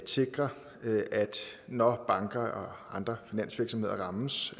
sikre at når banker og andre finansvirksomheder rammes